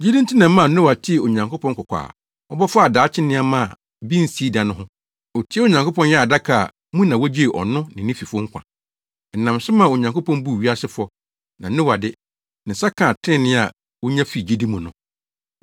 Gyidi nti na ɛmaa Noa tee Onyankopɔn kɔkɔ a ɔbɔ faa daakye nneɛma a bi nsii da no ho, otiee Onyankopɔn yɛɛ adaka a mu na wogyee ɔno ne ne fifo nkwa. Ɛnam so maa Onyankopɔn buu wiase fɔ, na Noa de, ne nsa kaa trenee a wonya fi gyidi mu no.